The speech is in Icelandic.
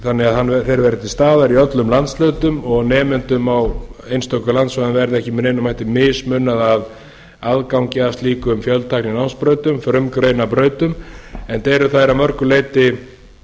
þannig að þeir verði til staðar í öllum landshlutum og nemendum á einstökum á einstökum landsvæðum verði ekki með neinum hætti mismunað að aðgangi að slíkum fjöltækninámsbrautum frumgreinabrautum enda eru þær að mörgu leyti